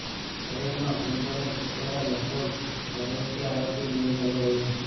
શહેરમાં બોલબાલા ટ્રસ્ટ દ્વારા લગભગ ચાર વર્ષથી આ રોટી બેંક ચાલી રહી છે